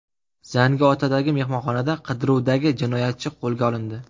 Zangiotadagi mehmonxonada qidiruvdagi jinoyatchi qo‘lga olindi.